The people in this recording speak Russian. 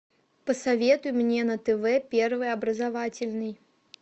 посоветуй мне на тв первый образовательный